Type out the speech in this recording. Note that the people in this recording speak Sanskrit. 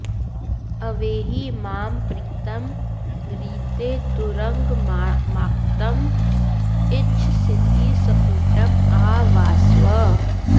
अवेहि मां प्रीतं ऋते तुरंगमात्किं इच्छसीति स्फुटं आह वासवः